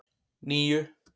níu